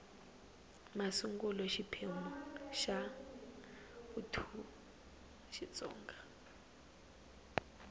masungulo xiphemu xa ii xitsonga